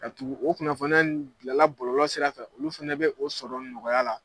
Ka tugu o kunnafoniya in dilala bɔlɔlɔ sira fɛ, olu fɛnɛ be o sɔrɔ nɔgɔya la.